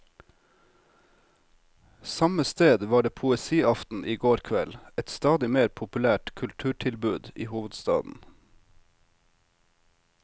Samme sted var det poesiaften i går kveld, et stadig mer populært kulturtilbud i hovedstaden.